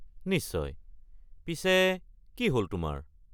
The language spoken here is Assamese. নিশ্চয়, পিছে কি হ’ল তোমাৰ?